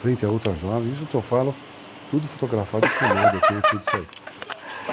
frente a outra jovem, isso que eu falo, tudo fotografado e filmado, eu tenho tudo isso aí.